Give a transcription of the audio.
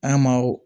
An ma o